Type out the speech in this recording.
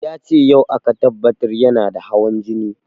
Yace yau aka tabbatar yana da hawan jini